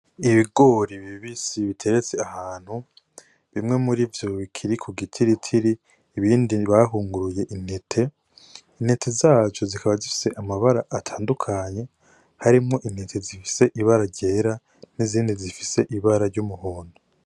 Ibigori bibisi biteretse ahantu, bimwe muri vyo bikiri ku gitiritiri, ibindi bahunguruye intete. Intete zaco zikaba zifise amabara atandukanye, harimwo intete zifise ibara ryera n'izindi zifise ibara ry'umuhondo.